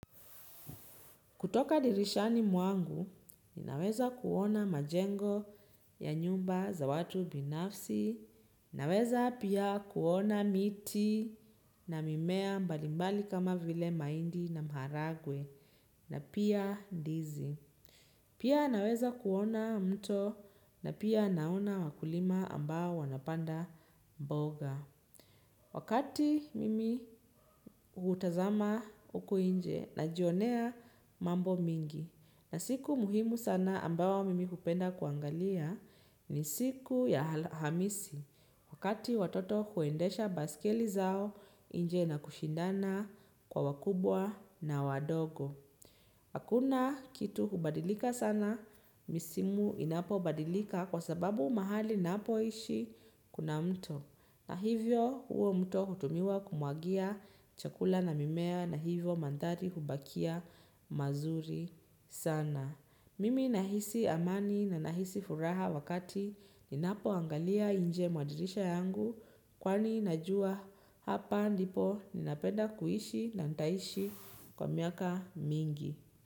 Kutoka dirishani mwangu, ninaweza kuona majengo ya nyumba za watu binafsi, naweza pia kuona miti na mimea mbalimbali kama vile maindi na mharagwe, na pia ndizi. Pia naweza kuona mto, na pia naona wakulima ambao wanapanda mboga. Wakati mimi utazama uko inje najionea mambo mingi na siku muhimu sana ambawo mimi upenda kuangalia ni siku ya alhamisi wakati watoto huendesha baisikeli zao inje na kushindana kwa wakubwa na wadogo. Hakuna kitu hubadilika sana, misimu inapo badilika kwa sababu mahali ninapo ishi kuna mto. Na hivyo uo mto utumiwa kumuagia chakula na mimea na hivyo mandari hubakia mazuri sana. Mimi nahisi amani na nahisi furaha wakati inapoangalia inje mwa dirisha yangu. Kwani najua hapa ndipo ninapenda kuishi na nidaishi kwa miaka mingi.